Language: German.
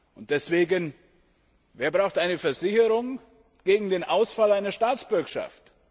Und deswegen Wer braucht eine Versicherung gegen den Ausfall einer Staatsbürgschaft?